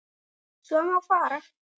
svo má fara